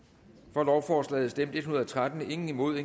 for lovforslaget stemte en hundrede og tretten imod